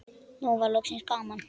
Nú var loksins gaman.